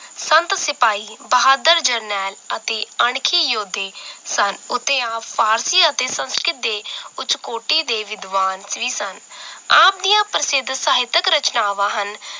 ਸੰਤ ਸਿਪਾਹੀ ਬਹਾਦਰ ਜਰਨੈਲ ਅਤੇ ਅਣਖੀ ਯੋਧੇ ਸਨ ਉਤੇ ਆਪ ਫਾਰਸੀ ਅਤੇ ਸੰਸਕ੍ਰਿਤ ਦੇ ਕੁਛ ਕੋਟੀ ਦੇ ਵਿਦਵਾਨ ਵੀ ਸਨ ਆਪ ਦੀਆਂ ਪ੍ਰਸਿੱਧ ਸਾਹਿਤਕ ਰਚਨਾਵਾਂ ਹਨ